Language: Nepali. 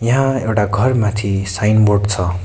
यहाँ एउटा घरमाथि साइन बोर्ड छ।